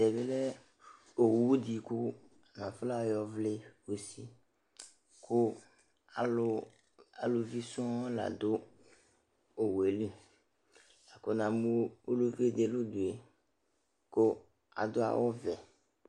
Tɛ bɩ lɛ owu dɩ kʋ atanɩ afɔnayɔwlɩ usi kʋ alʋ aluvi sɔŋ la dʋ owu yɛ li la kʋ namʋ ulluvi dɩ nʋ udu yɛ kʋ adʋ awʋvɛ